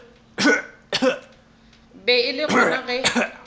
be e le gona ge